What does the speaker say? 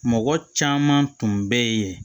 Mɔgɔ caman tun bɛ yen